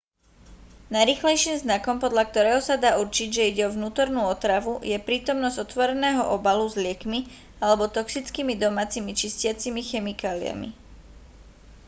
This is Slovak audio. najrýchlejším znakom podľa ktorého sa dá určiť že ide o vnútornú otravu je prítomnosť otvoreného obalu s liekmi alebo toxickými domácimi čistiacimi chemikáliami